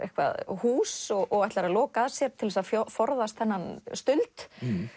hús og ætlar að loka að sér til þess að forðast þennan stuld